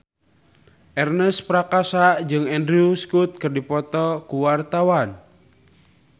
Ernest Prakasa jeung Andrew Scott keur dipoto ku wartawan